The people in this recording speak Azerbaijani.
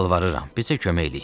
Yalvarıram, bizə kömək eləyin.